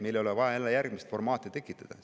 Meil ei ole vaja jälle järgmist formaati tekitada.